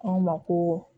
An ma ko